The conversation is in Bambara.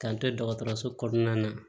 K'an to dɔgɔtɔrɔso kɔnɔna na